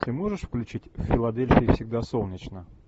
ты можешь включить в филадельфии всегда солнечно